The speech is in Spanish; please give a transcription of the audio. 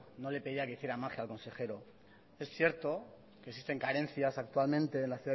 no le pedía que hiciera magia al consejero es cierto existen carencias actualmente en la